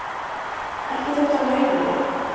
Ekki þótt hann nauðaði.